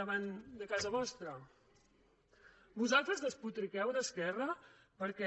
davant de casa vostra vosaltres despotriqueu d’esquerra perquè